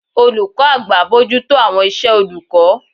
olukọ àgbá bojuto awọn isé olukọ